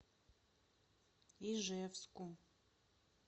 ижевску